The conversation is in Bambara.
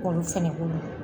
Olu fɛnɛ bolo.